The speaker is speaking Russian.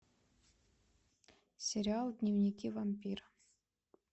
сериал дневники вампира